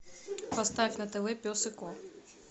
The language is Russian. поставь на тв пес и ко